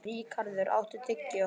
Ríkharður, áttu tyggjó?